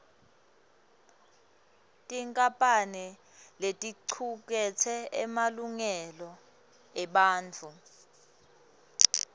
tinkampane leticuketse emalungelo ebantfu